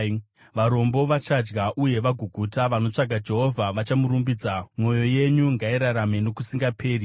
Varombo vachadya uye vagoguta; vanotsvaka Jehovha vachamurumbidza, mwoyo yenyu ngairarame nokusingaperi!